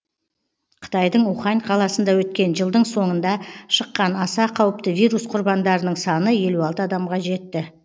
қытайдың ухань қаласында өткен жылдың соңында шыққан аса қауіпті вирус құрбандарының саны елу алты адамға жетті